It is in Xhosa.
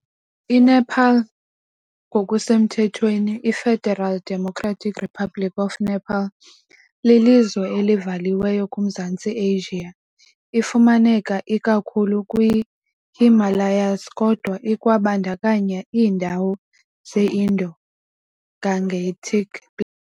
INepal ngokusemthethweni iFederal Democratic Republic of Nepal, lilizwe elivaliweyo kuMzantsi Asia . Ifumaneka ikakhulu kwii-Himalayas, kodwa ikwabandakanya iindawo ze-Indo-Gangetic Plain .